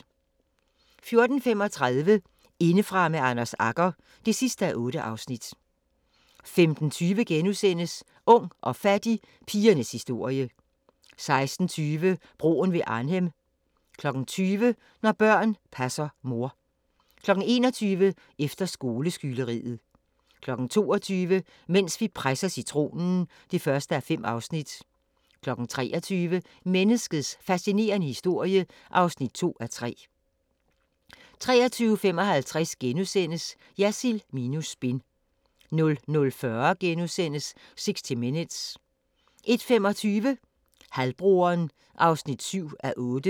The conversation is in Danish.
14:35: Indefra med Anders Agger (8:8) 15:20: Ung og fattig – pigernes historie * 16:20: Broen ved Arnhem 20:00: Når børn passer mor 21:00: Efter skoleskyderiet 22:00: Mens vi presser citronen (1:5) 23:00: Menneskets fascinerende historie (2:3) 23:55: Jersild minus spin * 00:40: 60 Minutes * 01:25: Halvbroderen (7:8)